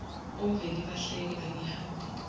omveli bahleke angihambe